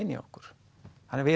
í okkur við